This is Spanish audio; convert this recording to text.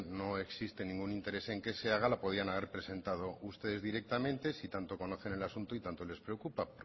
no existe ningún interés en que se haga la podían haber presentado ustedes directamente si tanto conocen el asunto y tanto les preocupa